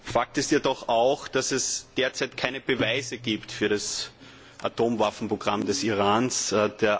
Fakt ist jedoch auch, dass es derzeit keine Beweise für das Atomwaffenprogramm des Irans gibt.